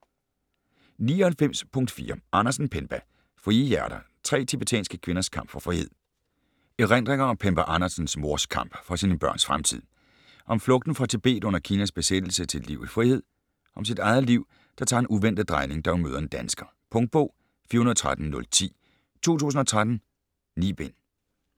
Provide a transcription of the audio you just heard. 99.4 Andersen, Penpa Frie hjerter: tre tibetanske kvinders kamp for frihed Erindringer om Penpa Andersens mors kamp for sine børns fremtid - om flugten fra Tibet under Kinas besættelse til et liv i frihed. Om sit eget liv, der tager en uventet drejning, da hun møder en dansker. Punktbog 413010 2013. 9 bind.